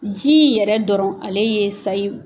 Ji in yɛrɛ dɔrɔn ale ye sayi